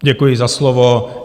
Děkuji za slovo.